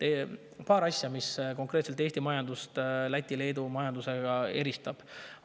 On paar asja, mis konkreetselt Eesti majandust Läti ja Leedu majandusest eristavad.